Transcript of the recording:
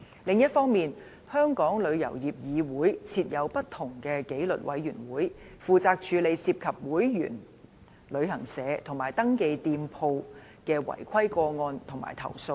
另一方面，香港旅遊業議會設有不同的紀律委員會，負責處理涉及會員旅行社及"登記店鋪"的違規個案及投訴。